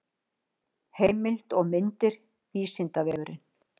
heimild og myndir vísindavefurinn